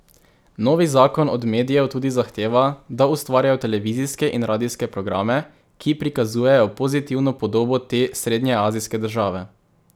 Novi zakon od medijev tudi zahteva, da ustvarjajo televizijske in radijske programe, ki prikazujejo pozitivno podobo te srednjeazijske države.